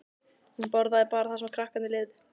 Hún borðaði bara það sem krakkarnir leifðu.